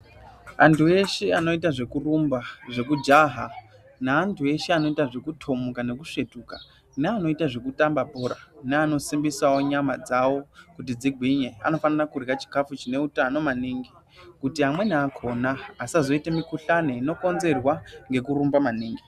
Antu eshe anoita zvekurumba, zvekujana neantu eshe anoita zvekutomuka nekusvetuka neanoita zvekutamba bhora neanosimbisawo nyama dzawo kuti dzigwinye anofanira kurya chikafu chine utano maningi kuti amweni akona asazoite mikhuhlani inokonzerwa nekurumba maningi.